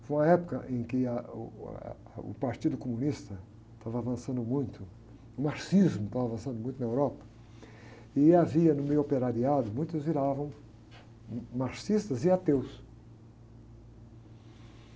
Foi uma época em que ah, uh, uh, ah, o Partido Comunista estava avançando muito, o marxismo estava avançando muito na Europa, e havia no meio operariado, muitos viravam marxistas e ateus.